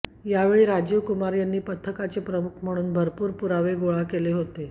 यावेळी राजीव कुमार यांनी पथकाचे प्रमुख म्हणून भरपूर पुरावे गोळा केले होते